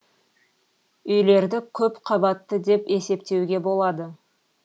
үйлерді көп қабатты деп есептеуге болады